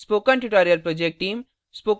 spoken tutorial project team